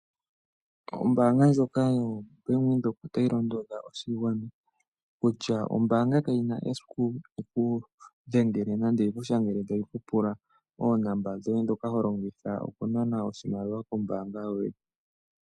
Ombaanga ndjoka yo bank Windhoek otayi londodha oshigwana kutya ombaanga kayina eiku yikundhele tayu pula oonomola dhoye dhombaanga.